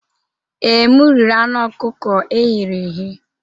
Ee, m riri anụ ọkụkọ e ghere eghe.